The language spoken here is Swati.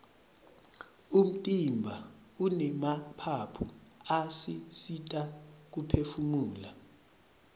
umtimba unemaphaphu asisita kuphefumula